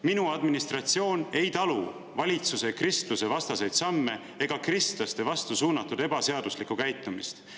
"Minu administratsioon ei talu valitsuse kristlusevastaseid samme ega kristlaste vastu suunatud ebaseaduslikku käitumist.